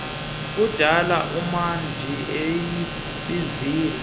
kudala umandi eyibizile